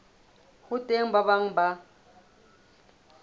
ho teng ba bang ba